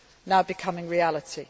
now becoming reality.